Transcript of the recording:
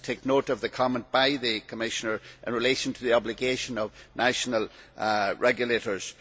I take note of the comment by the Commissioner in relation to the obligation of national regulators.